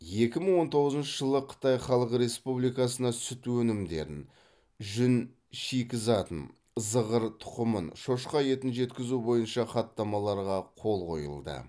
екі мың он тоғызыншы жылы қытай халық республикасына сүт өнімдерін жүн шикізатын зығыр тұқымын шошқа етін жеткізу бойынша хаттамаларға қол қойылды